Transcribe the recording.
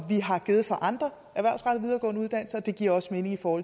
vi har givet til andre videregående uddannelser og det giver også mening for